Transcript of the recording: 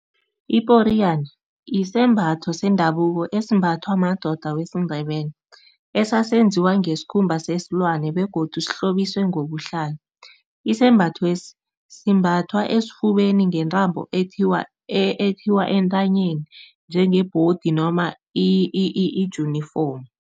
Iporiyana isembatho sendabuko esimbathwa madoda wesiNdebele, esasenziwe ngesikhumba sesilwane begodu sihlobiswe ngobuhlalo. Isembathwesi simbathwa esifubeni ngentambo ekuthiwa, ethiwa entanyeni njengebhodi noma ijunifomu.